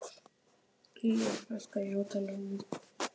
Ylja, lækkaðu í hátalaranum.